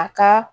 A ka